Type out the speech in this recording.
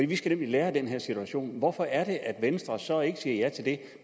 vi skal nemlig lære af den her situation hvorfor er det at venstre så ikke siger ja til det